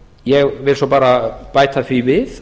ég vil svo bara bæta því við